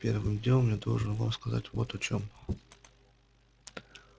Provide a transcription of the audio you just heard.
первым делом я должен вам сказать вот о чём